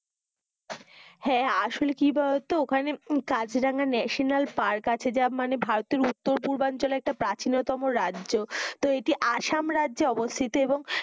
হ্যা, আসলে কি বোলো তো ওখানে কাজিরাঙা ন্যাশনাল পার্ক আছে যা মানে ভারতের উত্তর পূর্বাঞ্চলে প্রাচীনতম রাজ্য তো এটিআসাম রাজ্যে অবস্থিত এবং,